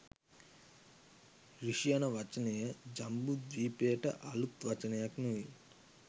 ඍෂි යන වචනය ජම්බුද්වීපයට අලූත් වචනයක් නොවේ